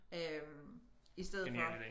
Øh i stedet for